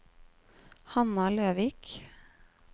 Hanna Løvik